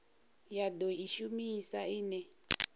ya do i shumisa ine